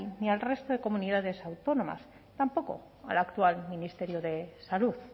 ni al resto de comunidades autónomas tampoco al actual ministerio de salud